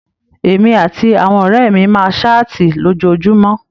Èmi àti àwọn ọrẹ mí máa saati lójoojúmọ́.